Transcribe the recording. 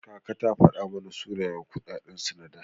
Kaka ta fada mana sunayen kuɗaɗen su na da.